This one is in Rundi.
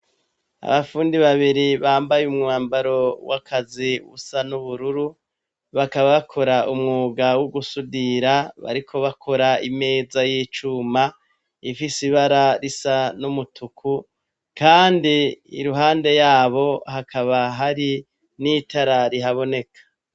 Abapfundi babiri bambaye umwambaro w'akazi busa n'ubururu bakabakora umwuga w'ugusudira bariko bakora imeza y'icuma ifise ibara risa n'umutuku, kandi iruhande yabo hakaba hari n'itarari haboneka.